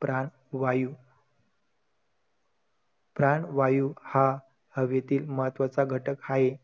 प्राण वायू, प्राण वायू हा हवेतील महत्त्वाचा घटक हाये.